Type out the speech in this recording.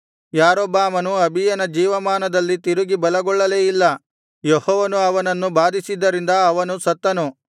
ಯಾರೊಬ್ಬಾಮನು ಅಬೀಯನ ಜೀವಮಾನದಲ್ಲಿ ತಿರುಗಿ ಬಲಗೊಳ್ಳಲೇ ಇಲ್ಲ ಯೆಹೋವನು ಅವನನ್ನು ಬಾಧಿಸಿದ್ದರಿಂದ ಅವನು ಸತ್ತನು